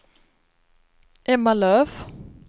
Emma Löf